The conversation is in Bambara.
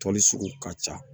Tɔli sugu ka ca